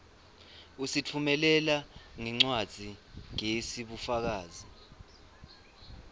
usitfumelela ngencwadzigezi bufakazi